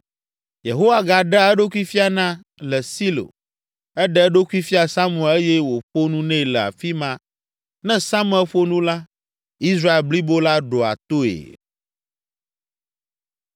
Yehowa gaɖea eɖokui fiana le Silo. Eɖe eɖokui fia Samuel eye wòƒo nu nɛ le afi ma. Ne Samuel ƒo nu la, Israel blibo la ɖoa toe.